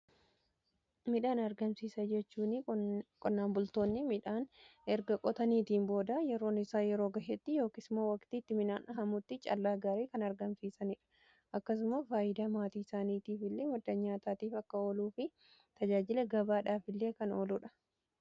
Midhaan argamsiisaa jechuun qonnaan bultoonni midhaan erga qotaniitiin booda yeroon isaa yeroo ga'eetti yookiis moo waqtii itti midhaan haamuutti callaa gaarii kan argamsiisaniidha. Akkasuma faayidaa maatii isaaniitiifillee madda nyaataatiif akka ooluu fi tajaajila gabaadhaafillee kan ooluudha.